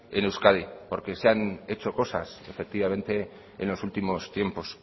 en euskadi porque se han hecho cosas efectivamente en los últimos tiempo